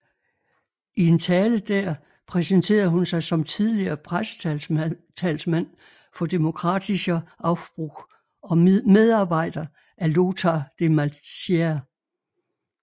I en tale dér præsenterede hun sig som tidligere pressetalsmand for Demokratischer Aufbruch og medarbejder af Lothar de Maizière